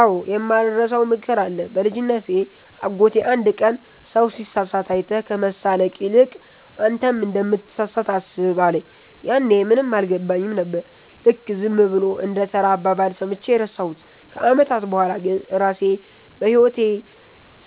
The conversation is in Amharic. አዎ፣ የማልረሳው ምክር አለ። በልጅነቴ አጎቴ አንድ ቀን “ሰው ሲሳሳት አይተህ ከመሳለቅ ይልቅ፣ አንተም እንደምትሳሳት አስብ” አለኝ። ያኔ ምንም አልገባኝም ነበር፤ ልክ ዝም ብሎ እንደ ተራ አባባል ሰምቼ ረሳሁት። ከዓመታት በኋላ ግን ራሴ በሕይወቴ